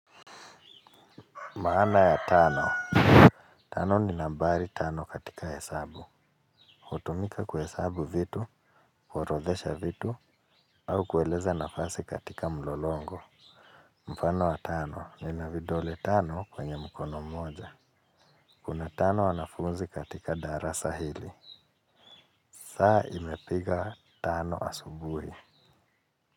Maana ya Tano. Tano ni nambari tano katika hesabu hutumika kuhesabu vitu, kuorodhesha vitu, au kueleza nafasi katika mlolongo. Mfano wa tano nina vidole tano kwenye mkono mmoja. Kuna tano wanafunzi katika darasa hili. Saa imepiga tano asubuhi.